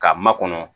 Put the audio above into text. Ka makɔnɔ